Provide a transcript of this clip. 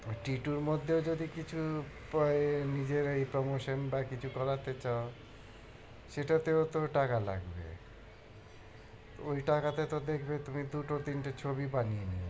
two এর মধ্যেও যদি কিছু প~ এর নিজের এই promotion বা কিছু করাতে চাও সেটাতেও তো টাকা লাগবে ওই টাকাতে তো দেখবে তুমি দুটো তিনটে ছবি বানিয়ে নিয়েছ।